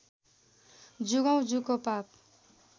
जुगौँ जुगको पाप